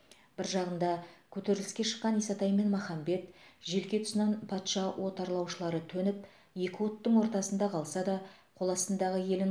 бір жағында көтеріліске шыққан исатай мен махамбет желке тұсынан патша отарлаушылары төніп екі оттың ортасында қалса да қоластындағы елін